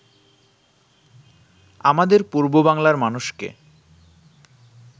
আমাদের পূর্ব বাংলার মানুষকে